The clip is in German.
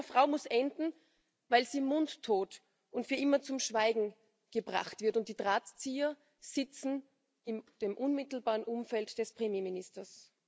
Das Leben einer Frau muss enden, weil sie mundtot gemacht und für immer zum Schweigen gebracht wird, und die Drahtzieher sitzen in dem unmittelbaren Umfeld des Premierministers.